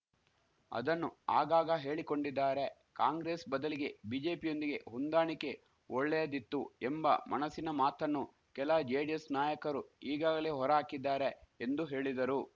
ಅದನ್ನು ಆಗಾಗ ಹೇಳಿಕೊಂಡಿದ್ದಾರೆ ಕಾಂಗ್ರೆಸ್‌ ಬದಲಿಗೆ ಬಿಜೆಪಿಯೊಂದಿಗೆ ಹೊಂದಾಣಿಕೆ ಒಳ್ಳೆಯದಿತ್ತು ಎಂಬ ಮಣಸ್ಸಿನ ಮಾತನ್ನು ಕೆಲ ಜೆಡಿಎಸ್‌ ನಾಯಕರು ಈಗಾಗಲೇ ಹೊರ ಹಾಕಿದ್ದಾರೆ ಎಂದು ಹೇಳಿದರು